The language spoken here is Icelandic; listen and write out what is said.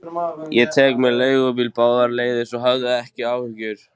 Ég tek mér leigubíl báðar leiðir, svo hafðu ekki áhyggjur.